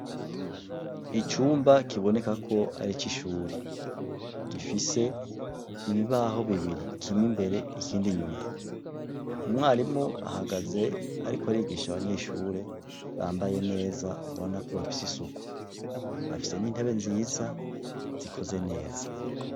Icumba kiboneka ko ari ici shure gifise ibibaho bibiri kimwe imbere ikindi inyuma, umwarimu ahagaze ariko arigisha abanyeshure bambaye neza ubona ko bafise isuku, bafise n'intebe nziza zikoze neza.